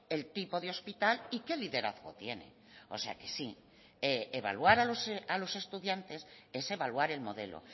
el tipo de hospital y qué liderazgo tiene o sea que sí evaluar a los estudiantes es evaluar el modelo